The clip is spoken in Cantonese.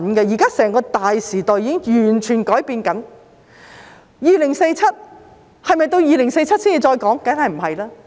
現在整個大時代正在改變，是否到2047年才討論？